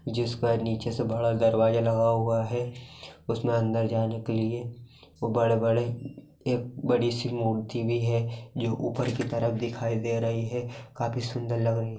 जिस पर नीचे से बड़ा दरवाज़ा लगा हुआ है उसमे अंदर जाने के लिए वो बड़े बड़े एक बड़ी सी मूर्ति भी है जो ऊपर की तरफ दिखाई दे रही हैं काफी सुन्दर लग रही है।